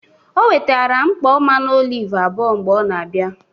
Ọ wetara nkpọ mmanụ ọlive abụọ mgbe ọ n' abịa.